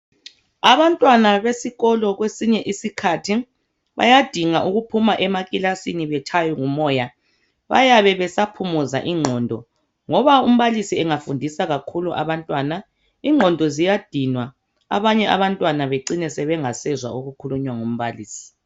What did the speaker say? Abantwana besikolo kwesinye isikhathi bayadinga ukuphuma emakilasini betshaywe ngumoya. Bayabe besaphumuza ingqondo ngoba umbalisi engafundisi kakhulu abantwana, ingqondo ziyadinwa abanye abantwana bacine bengasezwa abakufundiswa ngumbalisi.